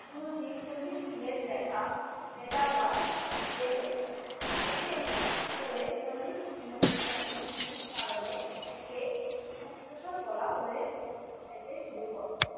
পুরো ছেচল্লিশ চীনের লেখা বেদাবা ছিঁড়ে ফেলেন এতে করে চল্লিশটি মুক্তার মুক্তির কারণে একে মুক্তেশর বলা হয়ে যেতে শুরু করে.